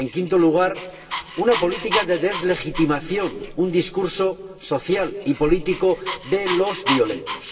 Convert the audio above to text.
En quinto lugar, una política de deslegitimación del discurso social y político de los violentos.